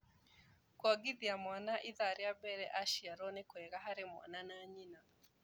kuongithia mwana ithaa rĩa mbere aciarũo nĩkũega harĩ mwana na nyina